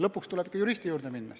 Lõpuks tuleb ikka juristi juurde minna.